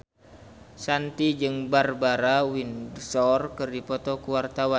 Shanti jeung Barbara Windsor keur dipoto ku wartawan